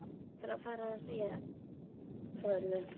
Hvernig ætlarðu að fara að því að segja frá öllu?